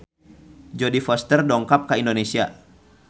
Jodie Foster dongkap ka Indonesia